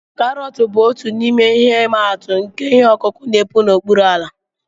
Karọt bụ otu n'ime ihe imatụ nke ihe ọkụkụ n'epu n'okpuru ala